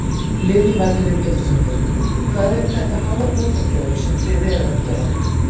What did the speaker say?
Lillý Valgerður Pétursdóttir: Hvað eru þetta háar bótakröfur sem þið eruð að gera?